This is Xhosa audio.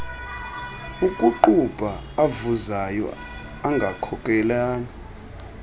okuqubha avuzayo angakhokelela